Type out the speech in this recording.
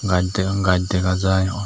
gaj degong gaj dega jai.